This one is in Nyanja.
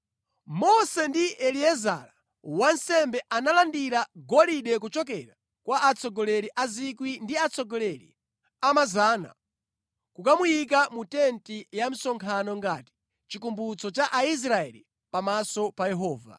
Mose ndi Eliezara wansembe analandira golide kuchokera kwa atsogoleri a 1,000 ndi atsogoleri a 100 ndi kukamuyika mu tenti ya msonkhano ngati chikumbutso cha Aisraeli pamaso pa Yehova.